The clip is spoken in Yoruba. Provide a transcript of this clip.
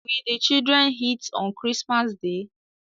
Will the children eat on christmas day?